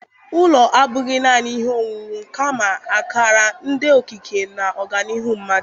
Ụlọ abụghị naanị ihe owuwu kamakwa akara nke okike na ọganihu mmadụ